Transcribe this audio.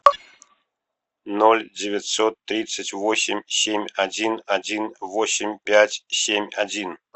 ноль девятьсот тридцать восемь семь один один восемь пять семь один